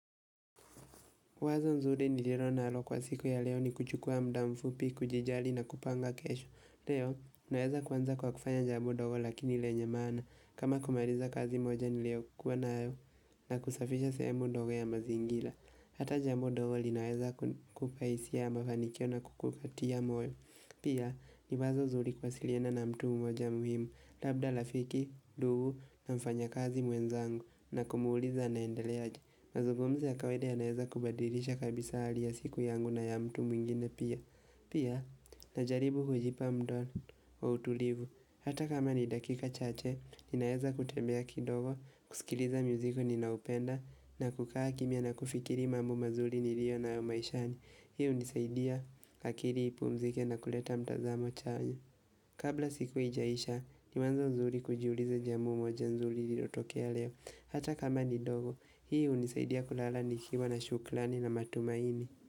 Wazo nzuri ni lirona alo kwa siku ya leo ni kuchukua mdamfupi, kujijali na kupanga kesho. Leo, naeza kwanza kwa kufanya jambo dogo lakini lenye maana kama kumariza kazi moja niliokuwa na ayo na kusafisha semu dogo ya mazingila. Hata jambo dogo linaeza kupaisia ya mafanikio na kukukatia moyo. Pia, ni wazo zuli kuwasiliana na mtu mmoja muhimu, labda lafiki, dugu na mfanya kazi mwenzangu na kumuuliza anaendeleaje. Mazungumzo ya kawaida ya naeza kubadirisha kabisa hali ya siku yangu na ya mtu mwingine pia Pia, najaribu hujipa mdono wa utulivu Hata kama ni dakika chache, ninaeza kutembea kidogo, kusikiliza muziki ninaupenda na kukaa kimia na kufikiri mambo mazuri ni rio na yomaishani Hii unisaidia kakiri ipu mzike na kuleta mtazamo chanya Kabla siku ijaisha, ni wanzo nzuri kujiuliza jambo nzuli ili otokea leo Hata kama ni dogo, hii unisaidia kulala ni kiwa na shuklani na matumaini.